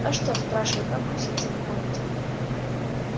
а что спрашивает бабка в ситцевом халате